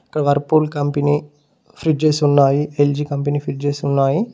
ఇక్కడ Whirlpool company fridges ఉన్నాయి LG company fridges ఉన్నాయి.